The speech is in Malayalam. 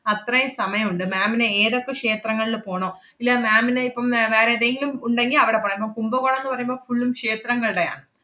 അത്രയും സമയം ഉണ്ട്. ma'am ന് ഏതെക്കെ ക്ഷേത്രങ്ങളില് പോണോ ഇല്ല ma'am ന് ഇപ്പം ഏർ വേറെ ഏതെങ്കിലും ഉണ്ടെങ്കി അവടെ പോണം~ കുംഭകോണംന്ന് പറയുമ്പം full ഉം ക്ഷേത്രങ്ങളുടെയാണ്.